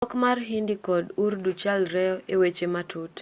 dhok mar hindi kod urdu chalre eweche matut